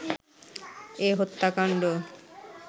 এ হত্যাকাণ্ড